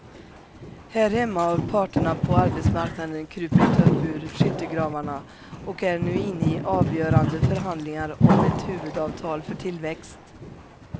Här hemma har parterna på arbetsmarknaden krupit upp ur skyttegravarna och är nu inne i avgörande förhandlingar om ett huvudavtal för tillväxt.